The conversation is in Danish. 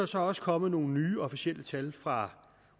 så også kommet nogle nye officielle tal fra